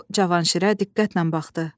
O Cavanşirə diqqətlə baxdı.